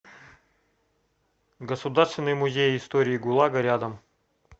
государственный музей истории гулага рядом